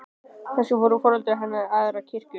Kannski fóru foreldrar hennar í aðra kirkju.